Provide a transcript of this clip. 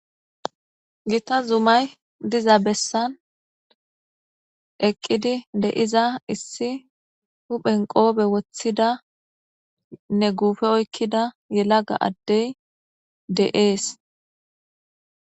Gita zumay diza bessan eqqidi deiza issi huphen qoobe woththida ne guufe oykkida yelaga addey de'ees.